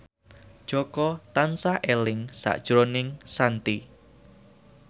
Jaka tansah eling sakjroning Shanti